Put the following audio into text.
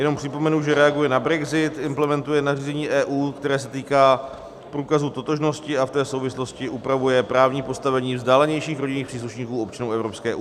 Jenom připomenu, že reaguje na brexit, implementuje nařízení EU, které se týká průkazu totožnosti, a v té souvislosti upravuje právní postavení vzdálenějších rodinných příslušníků občanů EU.